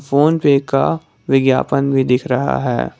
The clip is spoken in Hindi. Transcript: फोन पे का विज्ञापन भी दिख रहा है।